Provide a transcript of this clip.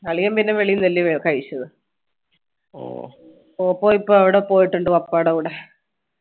അളിയൻ പിന്നെ വെളിയിൽന്നല്ലേ കഴിച്ചത് ഓപ്പോ ഇപ്പോ അവിടെ പോയിട്ടുണ്ട് പപ്പാടെ കൂടെ